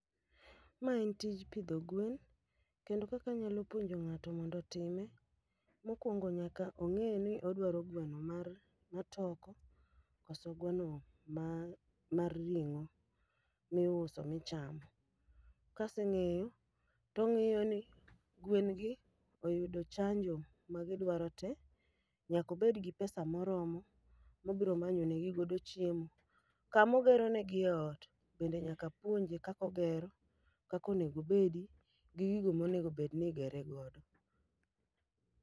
Ma en tij pidho gwen, kendo kaka puonjo ng'ato mondo time, mokwongo nyaka ong'eni odwaro gweno mar ma toko. Koso gweno ma mar ring'o miuso michamo. Kaseng'eyo, tong'iyo ni gwen gi oyudo chanjo ma gidwaro te. Nyakobed gi pesa moromo, mobro manyo ne gi godo chiemo. Kamogero negi e ot, bende nyaka apuonje kakogero, kakonego obedi, gi gigo monegobedni igere godo.